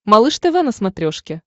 малыш тв на смотрешке